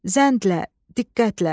Zəndlə, diqqətlə.